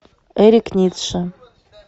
эрик ницше